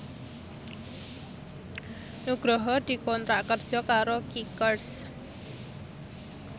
Nugroho dikontrak kerja karo Kickers